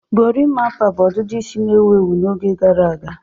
Gorimapa bụ ọdịdị isi na-ewu ewu n'oge gara aga